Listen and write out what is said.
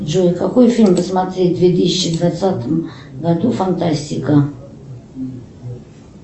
джой какой фильм посмотреть в две тысячи двадцатом году фантастика